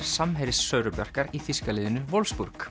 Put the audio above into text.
samherji Söru Bjarkar í þýska liðinu